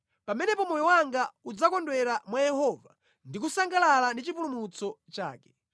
Pamenepo moyo wanga udzakondwera mwa Yehova ndi kusangalala ndi chipulumutso chake.